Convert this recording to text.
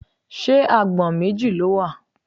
Ṣé agbọ̀n méjì ló wà?